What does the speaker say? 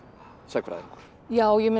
sagnfræðingur já ég